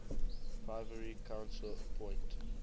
privy council appoint